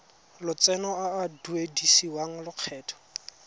lotseno a a duedisiwang lokgetho